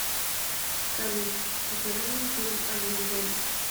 салют покажи мне фильм один дома